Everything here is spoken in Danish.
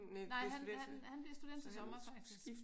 Nej han han bliver student til sommer faktisk